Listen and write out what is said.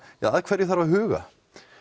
að hverju þarf að huga